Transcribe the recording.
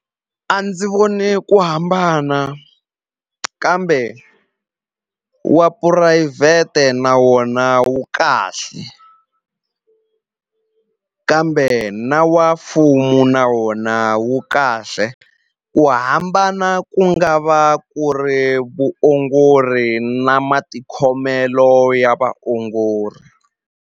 A ndzi voni ku hambana kambe wa phurayivhete na wona wu kahle kambe na wa mfumo na wona wu kahle ku hambana ku nga va ku ri vuongori na matikhomelo ya vaongori.